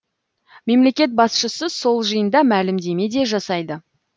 мемлекет басшысы сол жиында мәлімдеме де жасайды